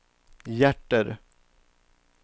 hjärter